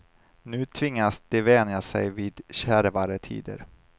Nu tvingas de vänja sig vid kärvare tider.